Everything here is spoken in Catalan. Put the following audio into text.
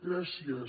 gràcies